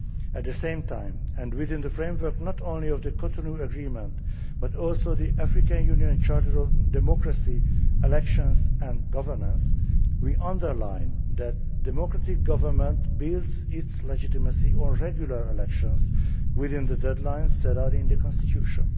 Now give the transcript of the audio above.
At the same time, and within the framework not only of the Cotonou Agreement but also the African Union Charter of democracy elections and governance, we underline that a democratic government builds its legitimacy on regular elections within the deadline set out in the constitution.